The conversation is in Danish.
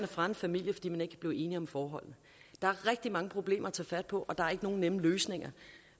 fra en familie fordi man ikke kan blive enig om forholdene der er rigtig mange problemer at tage fat på og der er ikke nogen nemme løsninger